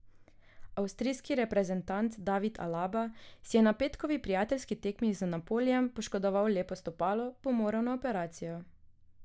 Avstrijski reprezentant David Alaba, ki si je na petkovi prijateljski tekmi z Napolijem poškodoval lepo stopalo, bo moral na operacijo.